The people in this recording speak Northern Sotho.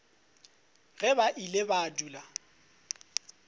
ge ba ile ba dula